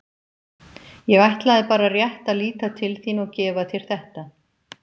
Ég ætlaði bara rétt að líta til þín og gefa þér þetta.